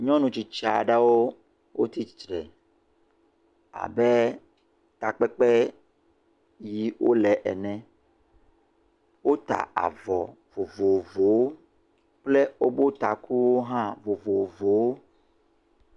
Nyɔnu tsitsi aɖewo wotsi tsitre abe takpekpe yiƒe wole ene. Wota avɔ vovovowo kple woƒe takuwo hã vovovowo.